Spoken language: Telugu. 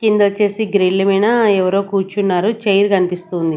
కింద వచ్చేసి గ్రిల్ మీనా ఎవరో కూర్చున్నారు చైర్ కనిపిస్తుంది.